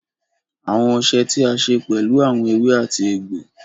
Awọn ọṣẹ̀ tí a ṣè pẹ̀lú awọn èwè àti ègbò.